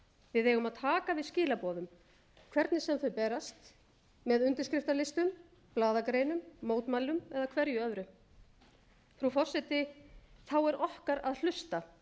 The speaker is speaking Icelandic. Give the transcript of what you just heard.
við eigum að taka við skilaboðum hvernig sem þau berast með undirskriftalistum blaðagreinum mótmælum eða hverju öðru frú forseti þá er okkar að hlusta